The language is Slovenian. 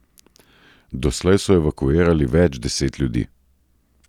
Doslej so evakuirali več deset ljudi.